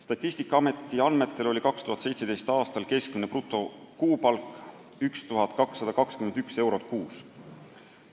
Statistikaameti andmetel oli 2017. aastal keskmine brutokuupalk 1221 eurot kuus.